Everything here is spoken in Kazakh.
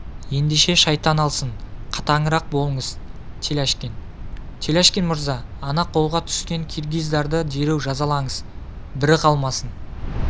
ендеше шайтан алсын қатаңырақ болыңыз теляшкин теляшкин мырза ана қолға түскен киргиздарды дереу жазалаңыз бірі қалмасын